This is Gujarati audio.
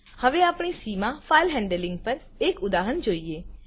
હવે આપણે સી માં ફાઇલ હેન્ડલિંગ પર એક ઉદાહરણ જોઈએ